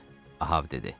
Ahav dedi.